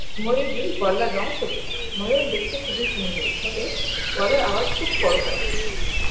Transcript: ময়ূরীর গলার রং সবুজ ময়ূর দেখতে খুবই সুন্দর তবে গলার আওয়াজ খুব কর্কশ